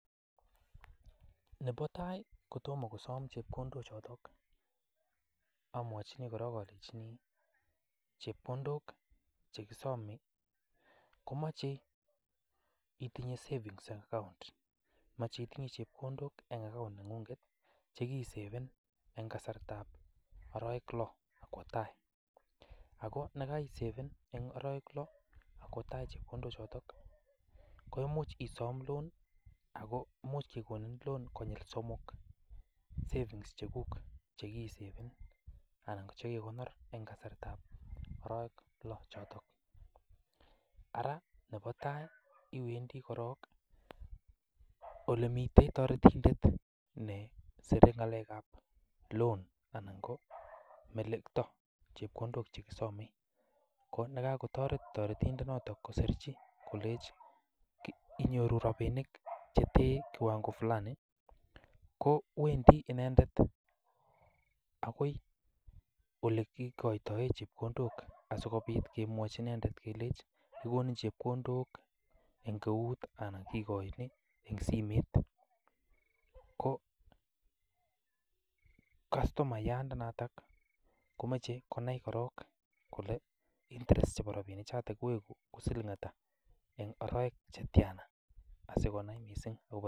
Nebo tai kotomo kosom chekondochoto amwachini korong alenchini chepkondok che kisome komache itinye savings account, mache itinye chepkondok en account neng'ung'et che kiisaven en kasartab arawek loo ak kwo tai. Ago ye kaisaven en arawek loo ak kwo tai chepkondok choto koimuch isom Loan ago imuch kogonin loan konyil somok savings cheguk che kiisaven anan ko shekiikonor en kasartab arawek lo choto. Ara nebo tai iwendi korong ole miten toretindet ne sire ng'alekab loan anan ko melekto chepkondok che kisome. Ko yekagotore toretindonoto kosirchi kolenchi inyoru rabinik che teny kiwango fulani kowendi inendet agoi ole kigatoen chepkondok asikobit kemwochi inendet kelenchi kigonin chepkondok en eut anan kiigoin en simet ko kastomayandanato komache konai korong kole interest chebo lakwanoto koigu siling ata en arawek che tiana.